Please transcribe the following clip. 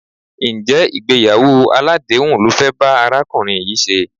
Ǹjẹ́ ìgbéyàwó aládèéhùn lo fẹ́ bá arákùnrin yìí ṣe?